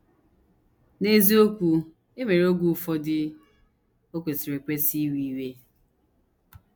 N’eziokwu, e nwere oge ụfọdụ o kwesịrị ekwesị iwe iwe.